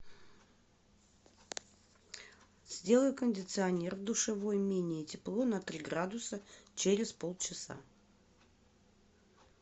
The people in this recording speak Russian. сделай кондиционер в душевой менее тепло на три градуса через полчаса